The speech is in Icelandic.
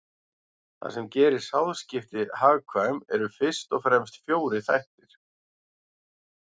Það sem gerir sáðskipti hagkvæm eru fyrst og fremst fjórir þættir.